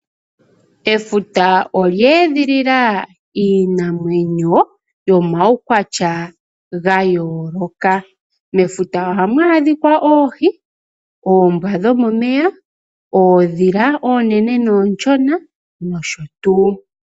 Efuta olya edhilila iinamwenyo yomaukwatya ga yooloka. Mefuta ohamu adhika oohi, oombwa dhomomeya , oondhila oonene noonshona nosho tuu.